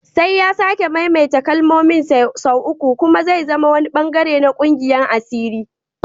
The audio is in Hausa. Sai ya sake maimaita kalmomin sau uku kuma zai zama wani bangare na kungiyar asiri